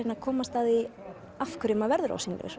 komast að því af hverju maður verður ósýnilegur